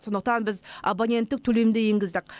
сондықтан біз абоненттік төлемді енгіздік